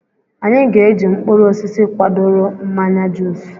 Anyị ga eji mkpụrụ osisi kwadoro mmanya juus